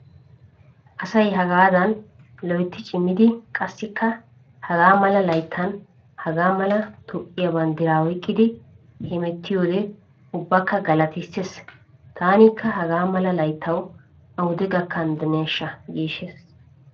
Asay hagaadan loytti cimidi qassikka hagaa mala layttan hagaa mala toophphiya banddira oyqqidi hemettiyode ubbakka galatisees. Taanikka hagaa mala layttawu awude gakkanddeeshsha giissees.